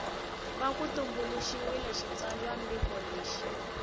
va ku tumbuluxiwile xitsalwambiko lexi